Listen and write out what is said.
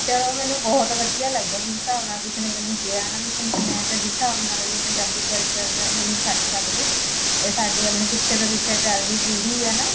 ਚਲੋ ਮੈਨੂੰ ਬਹੁਤ ਵਧੀਆ ਲੱਗਿਆ ਜਿਸ ਹੀਸੰ ਨਾਲ ਤੁਸੀਂ ਨੇ ਮੈਨੂੰ ਕਿਹਾ ਨਾ ਵੀ ਮੈਂ ਤਾ ਜਿਸ ਹਿਸਾਬ ਨਾਲ ਪੰਜਾਬੀ culture ਨੀ ਛੱਡ ਸਕਦੀ ਇਹ ਸਾਡੀ ਪਿੱਛੇ ਤੋਂ ਪਿੱਛੇ ਚੱਲਦੀ ਪੀੜੀ ਐ ਨਾ